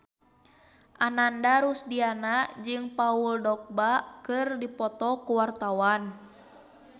Ananda Rusdiana jeung Paul Dogba keur dipoto ku wartawan